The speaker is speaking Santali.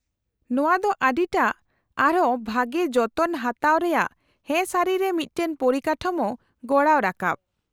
-ᱱᱚᱶᱟ ᱫᱚ ᱟᱹᱰᱤᱴᱟ , ᱟᱨᱦᱚᱸ ᱵᱷᱟᱹᱜᱤ ᱡᱚᱛᱚᱱ ᱦᱟᱛᱟᱣ ᱨᱮᱭᱟᱜ ᱦᱮᱸ ᱥᱟᱹᱨᱤ ᱨᱮ ᱢᱤᱫᱴᱟᱝ ᱯᱚᱨᱤᱠᱟᱴᱷᱟᱢᱳ ᱜᱚᱲᱟᱣ ᱨᱟᱠᱟᱵ ᱾